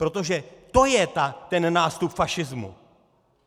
Protože to je ten nástup fašismu!